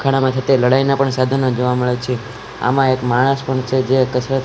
ખાણા માથે ત્યાં લડાઈના પણ સાધનો જોવા મળે છે આમાં એક માણસ પણ છે જે કસરત--